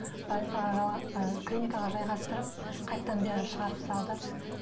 больницаға ы клиникаға жайғастырып қайтадан бері шығарып салды